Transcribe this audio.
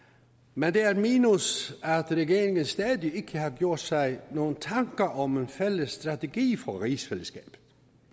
men det er et minus at regeringen stadig ikke har gjort sig nogen tanker om en fælles strategi for rigsfællesskabet